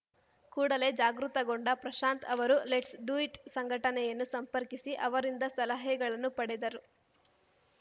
ಕೂಡಲೇ ಜಾಗೃತಗೊಂಡ ಪ್ರಶಾಂತ್‌ ಅವರು ಲೆಟ್ಸ್‌ ಡು ಇಟ್‌ ಸಂಘಟನೆಯನ್ನು ಸಂಪರ್ಕಿಸಿ ಅವರಿಂದ ಸಲಹೆಗಳನ್ನು ಪಡೆದರು